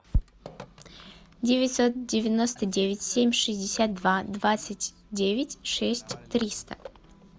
девятьсот девяносто девять семь шестьдесят два двадцать девять шесть триста